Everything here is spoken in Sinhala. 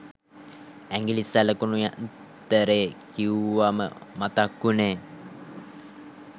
ඇඟිලි සලකුණු යන්තරේ කිව්වම මතක් උනේ